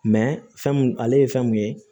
fɛn mun ale ye fɛn mun ye